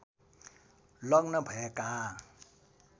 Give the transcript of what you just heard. लग्न भएका